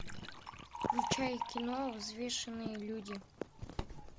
включай кино взвешенные люди